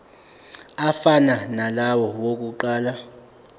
afana nalawo awokuqala